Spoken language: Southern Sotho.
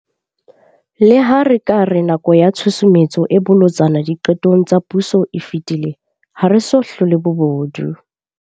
Le ha re ka re nako ya tshusumetso e bolotsana diqetong tsa puso e fetile, ha re so hlole bobodu.